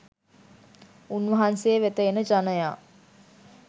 උන්වහන්සේ වෙත එන ජනයා